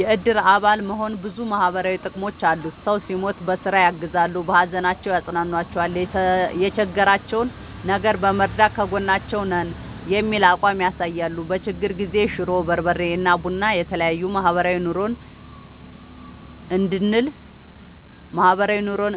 የእድር አባል መሆን ብዙ ማህበራዊ ጥቅሞች አሉት ሰው ሲሞት በስራ ያግዛሉ። በሀዘናቸው ያፅኗኗቸዋል የቸገራቸውን ነገር በመርዳት ከጎናችሁ ነን የሚል አቋም ያሳያሉ። በችግር ጊዜ ሽሮ፣ በርበሬ እና ቡና የተለያዬ ማህበራዊ ኑሮን